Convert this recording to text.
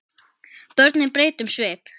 Börnin breyta um svip.